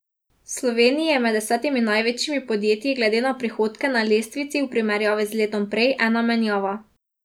V Sloveniji je med desetimi največjimi podjetij glede na prihodke na lestvici v primerjavi z letom prej ena menjava.